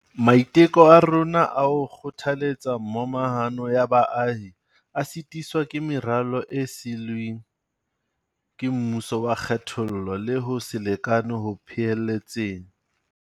Maiteko a rona a ho kgothaletsa momahano ya baahi, a sitiswa ke meralo e siilweng ke mmuso wa kgethollo le ho se lekane ho phehelletseng.